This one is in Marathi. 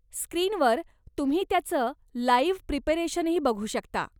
स्क्रीनवर तुम्ही त्याचं लाइव्ह प्रिपरेशनही बघू शकता.